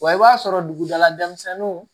Wa i b'a sɔrɔ dugula dɛnmisɛnninw